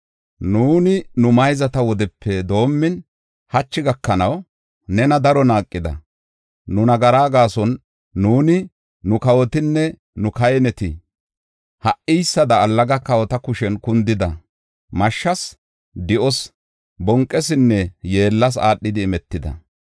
Nuuni nu mayzata wodepe doomin, hachi gakanaw, nena daro naaqida. Nu nagaraa gaason nuuni, nu kawotinne nu kahineti ha77iysada allaga kawota kushen kundida; mashshas, do7os, bonqeesinne yeellas aadhidi imetida.